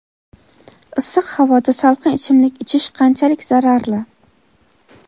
Issiq havoda salqin ichimlik ichish qanchalik zararli?.